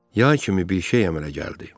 Yay kimi bir şey əmələ gəldi.